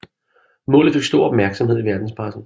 Målet fik stor opmærksomhed i verdenspressen